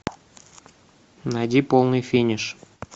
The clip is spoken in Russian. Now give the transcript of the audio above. найди полный финиш